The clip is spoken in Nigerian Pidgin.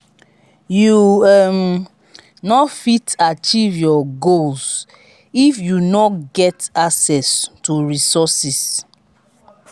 you um no fit achieve your goals if you no get access to resources.